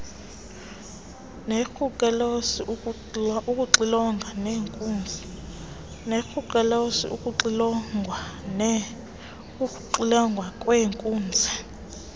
nebrucellosis ukuxilongwa kweenkunzi